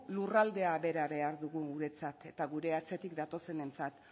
lurraldea bera behar dugu guretzat eta gure atzetik datozenentzat